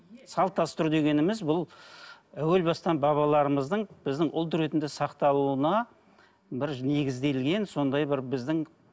салт дәстүр дегеніміз бұл әуел бастан бабаларымыздың біздің ұлт ретінде сақталуына бір негізделген сондай бір біздің